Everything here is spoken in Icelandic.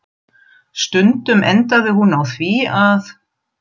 Stundum endaði hún á því að